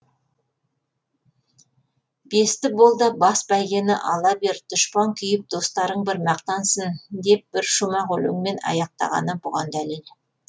бесті бол да бас бәйгені ала бер дұшпан күйіп достарың бір мақтансын деп бір шумақ өлеңмен аяқтағаны бұған дәлел